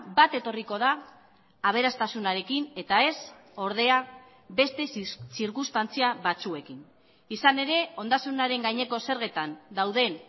bat etorriko da aberastasunarekin eta ez ordea beste zirkunstantzia batzuekin izan ere ondasunaren gaineko zergetan dauden